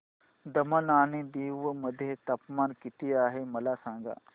दमण आणि दीव मध्ये तापमान किती आहे मला सांगा